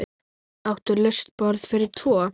Áttu laust borð fyrir tvo?